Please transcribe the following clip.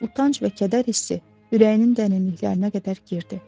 Utanc və kədər hissi ürəyinin dərinliklərinə qədər girdi.